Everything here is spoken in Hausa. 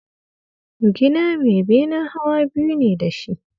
The storey house has two floors